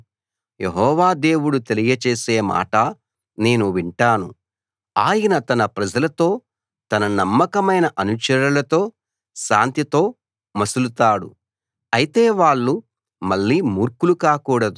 యెహోవా దేవుడు తెలియచేసే మాట నేను వింటాను ఆయన తన ప్రజలతో తన నమ్మకమైన అనుచరులతో శాంతితో మసలుతాడు అయితే వాళ్ళు మళ్ళీ మూర్ఖులు కాకూడదు